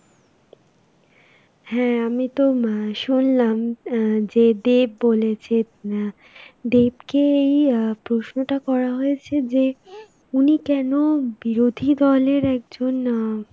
হ্যাঁ আমি তো মা শুনলাম আঁ যে দেব বলেছে আ, দেবকে এই আঁ প্রশ্নটা করা হয়েছে যে উনি কেনো বিরোধী দলের একজন আঁ